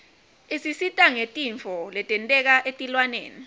isisita ngetintfo letenteka etilwaneni